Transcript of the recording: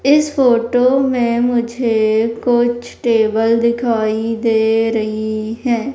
इस फोटो में मुझे कुछ टेबल दिखाई दे रही है।